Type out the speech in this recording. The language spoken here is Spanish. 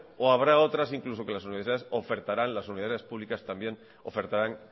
o habrá otras incluso que las universidades ofertarán las universidades públicas también ofertarán